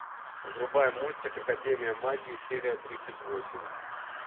врубай мультик академия магии серия тридцать восемь